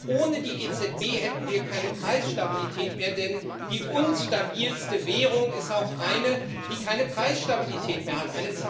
ohne die EZB hätten wir keine Preisstabilität mehr, denn die unstabilste Währung ist auch eine, die keine Preisstabilität mehr hat.